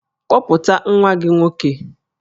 Kpọpụta nwa gị nwoke!